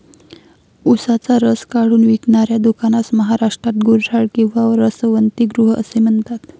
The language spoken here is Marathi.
ऊसाचा रस काढून विकणाऱ्या दुकानास महाराष्ट्रात गुऱ्हाळ किंवा रसवंतीगृह असे म्हणतात.